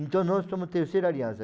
Então, nós somos Terceira Aliança.